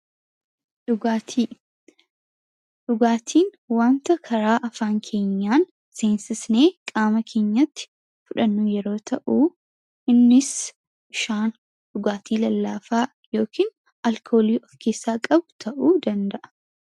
Dhugaatii Dhugaatiin wanta karaa afaan keenyaan seensisnee qaama keenyatti fudhannu yeroo ta'uu innis bishaan, dhugaatii lallaafaa yookiin alkoolii of keessaa qabu ta'uu danda'a.